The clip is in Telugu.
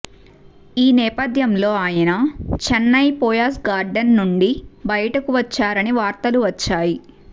ఈ నేపథ్యంలో ఆయన చెన్నైయ్ పోయస్ గార్డెన్ నుండి బయటకు వచ్చారని వార్తలు వచ్చాయి